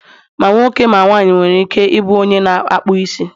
ma nwoke, ma nwanyị nwere ike ị bụ u onye na ịkpụ isi